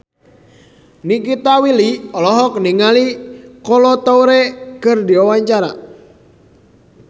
Nikita Willy olohok ningali Kolo Taure keur diwawancara